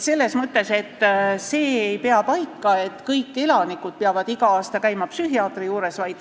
See ei pea paika, et kõik elanikud peavad iga aasta käima psühhiaatri juures.